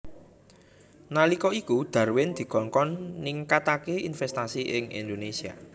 Nalika iku Darwin dikongkon ningkataké investasi ing Indonésia